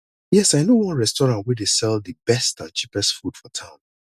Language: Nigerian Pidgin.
yes i know one restaurant wey dey sell di best and cheapest food for town